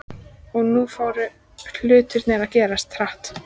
Og nú fóru hlutirnir að gerast hratt.